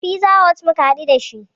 A fiza hot muka haɗu dashi